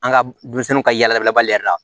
An ka denmisɛnninw ka yalabali la